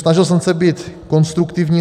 Snažil jsem se být konstruktivní.